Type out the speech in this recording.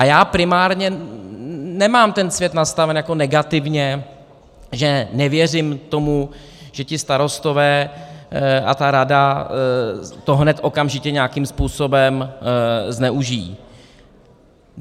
A já primárně nemám ten svět nastaven jako negativně, že nevěřím tomu, že ti starostové a ta rada to hned okamžitě nějakým způsobem zneužijí.